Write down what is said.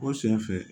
O sen fɛ